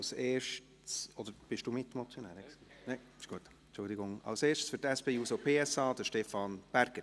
Als erster für die SP-JUSO-PSA, Stefan Berger.